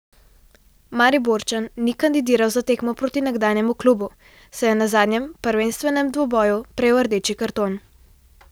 Mariborčan ni kandidiral za tekmo proti nekdanjemu klubu, saj je na zadnjem prvenstvenem dvoboju prejel rdeči karton.